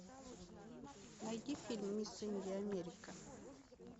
найди фильм мисс индия америка